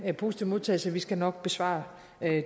positive modtagelse vi skal nok besvare